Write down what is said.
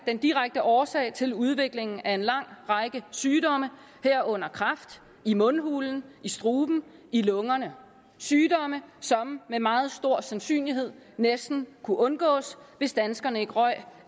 den direkte årsag til udviklingen af en lang række sygdomme herunder kræft i mundhulen i struben og i lungerne sygdomme som med meget stor sandsynlighed næsten kunne undgås hvis danskerne ikke røg